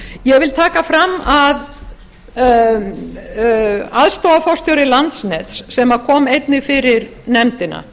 ég vil taka það fram að aðstoðarforstjóri landsnets sem kom einnig fyrir nefndina